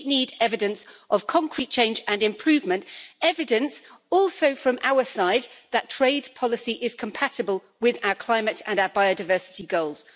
We need evidence of concrete change and improvement and also evidence from our side that trade policy is compatible with our climate and biodiversity goals.